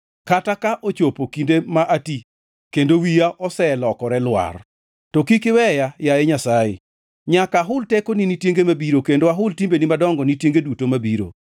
Kata ka ochopo kinde ma ati kendo wiya oselokore lwar, to kik iweya, yaye Nyasaye, nyaka ahul tekoni ni tienge mabiro, kendo ahul timbeni madongo ni tienge duto mabiro.